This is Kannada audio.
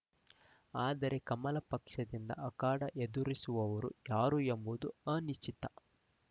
ಆದರೆ ಕಮಲ ಪಕ್ಷದಿಂದ ಅಖಾಡ ಎದುರಿಸುವವರು ಯಾರು ಎಂಬುದೇ ಅನಿಶ್ಚಿತ